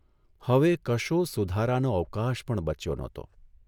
હવે કશો સુધારાનો અવકાશ પણ બચ્યો નહતો.